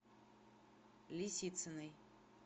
лисициной